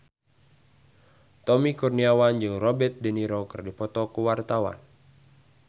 Tommy Kurniawan jeung Robert de Niro keur dipoto ku wartawan